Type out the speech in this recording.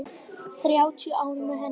Þrjátíu ár með henni.